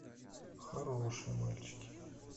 хорошие мальчики